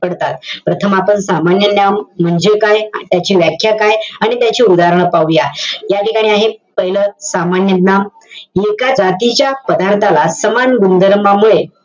पडतात. प्रथम आपण सामान्य नाम म्हणजे काय? त्याची व्याख्या काय? आणि त्याचे उदाहरणं पाहूया. या ठिकाणी आहे, पाहिलं, सामान्य नाम. एका जातीच्या पदार्थाला सामान गुणधर्मामुळे,